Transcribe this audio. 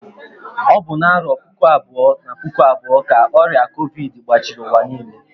Ọ bụ na arọ puku abụọ na puku abụọ ka ọrịa covidi gbachiri ụwa niile